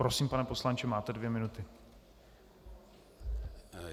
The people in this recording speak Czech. Prosím, pane poslanče, máte dvě minuty.